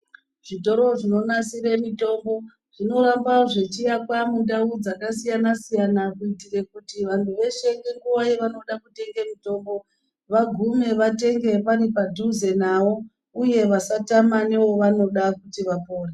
Zvitoro zvinonasire mitombo, zvinoramba zvechiakwa mundau dzakasiyana siyana kuitire kuti vanhu veshe nenguva yavanoda kutenge mitombo vagume vatenge pari padhuze nawo uye vasatama newavanoda kuti vapore.